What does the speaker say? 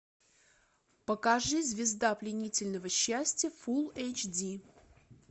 покажи звезда пленительного счастья фулл эйч ди